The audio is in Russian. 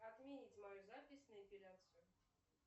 отменить мою запись на эпиляцию